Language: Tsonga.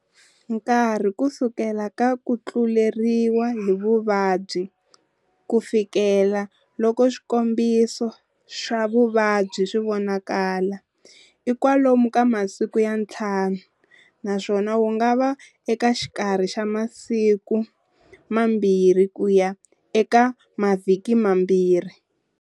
Nkarhi kusukela ka kutluleriwa hi vuvabyi kufikela loko swikombiso swa vuvabyi swi vonakala, i kwalomu ka masiku ya nthlanu, naswona wu nga va eka xikarhi xa masiku mambirhi kuya eka mavhiki mambhiri.